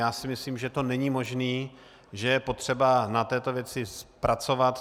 Já si myslím, že to není možné, že je potřeba na této věci pracovat.